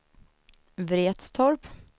Vretstorp